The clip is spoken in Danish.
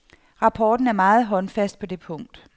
Rapporten er meget håndfast på det punkt.